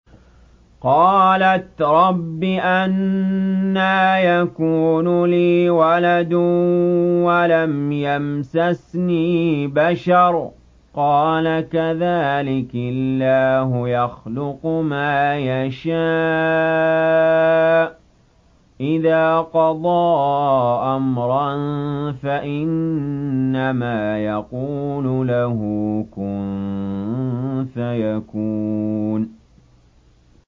قَالَتْ رَبِّ أَنَّىٰ يَكُونُ لِي وَلَدٌ وَلَمْ يَمْسَسْنِي بَشَرٌ ۖ قَالَ كَذَٰلِكِ اللَّهُ يَخْلُقُ مَا يَشَاءُ ۚ إِذَا قَضَىٰ أَمْرًا فَإِنَّمَا يَقُولُ لَهُ كُن فَيَكُونُ